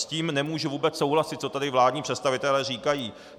S tím nemůžu vůbec souhlasit, co tady vládní představitelé říkají.